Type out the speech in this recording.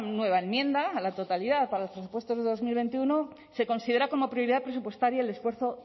nueva enmienda a la totalidad para los presupuestos del dos mil veintiuno se considera como prioridad presupuestaria el esfuerzo